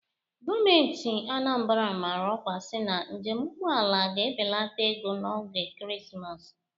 Gọọmenti Anambra amaara ọkwa si na njem ụgbọ ala ga ebelata ego n'oge ekeresimesi.